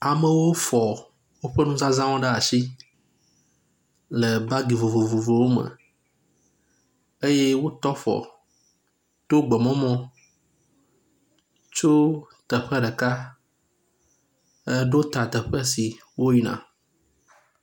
Amewo fɔ woƒe nuzazãwo ɖe asi le bagi vovovowo me eye wotɔ afɔ to gbememɔ tso teƒe ɖeka eɖo ta teƒe si woyina.